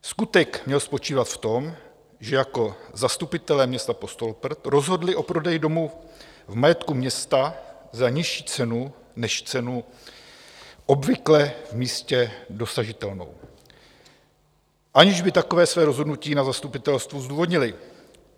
Skutek měl spočívat v tom, že jako zastupitelé města Postoloprt rozhodli o prodeji domu v majetku města za nižší cenu než cenu obvykle v místě dosažitelnou, aniž by takové své rozhodnutí na zastupitelstvu zdůvodnili.